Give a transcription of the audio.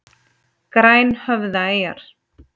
Grænhöfðaeyjar